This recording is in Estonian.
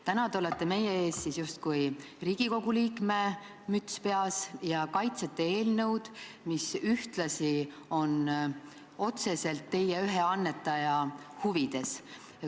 Täna olete te meie ees justkui Riigikogu liikme müts peas ja kaitsete eelnõu, mis on otseselt ühe teie annetaja huvides.